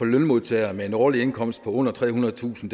lønmodtagere med en årlig indkomst på under trehundredetusind